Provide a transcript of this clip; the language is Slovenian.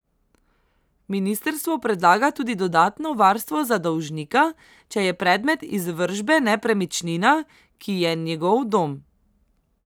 Ministrstvo predlaga tudi dodatno varstvo za dolžnika, če je predmet izvršbe nepremičnina, ki je njegov dom.